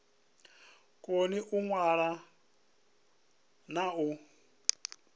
koni u ṅwala na u